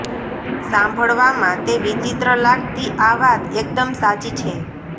સાંભળવામાં તે વિચિત્ર લાગતી આ વાત એકદમ સાચી છે